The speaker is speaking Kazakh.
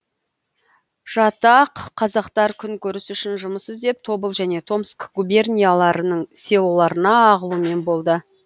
жатақ қазақтар күнкөріс үшін жүмыс іздеп тобыл және томск губернияларының селоларына ағылумен болды